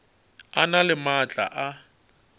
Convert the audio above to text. a na le maatla a